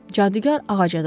Cadugar ağaca dırmaşdı.